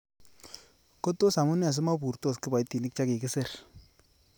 Ko tos amune simoburtos kiboitinik che kikisir?